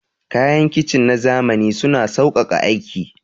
Kayan kicin na zamani suna sauƙaƙa aiki.